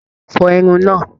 Fọ Irun náà!